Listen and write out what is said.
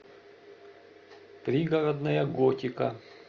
пригородная готика